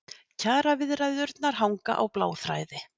Kjaraviðræðurnar hanga á bláþræði